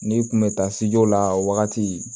N'i kun bɛ taa sejo la wagati